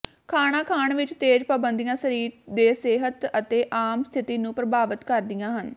ਖਾਣਾ ਖਾਣ ਵਿੱਚ ਤੇਜ ਪਾਬੰਦੀਆਂ ਸਰੀਰ ਦੇ ਸਿਹਤ ਅਤੇ ਆਮ ਸਥਿਤੀ ਨੂੰ ਪ੍ਰਭਾਵਤ ਕਰਦੀਆਂ ਹਨ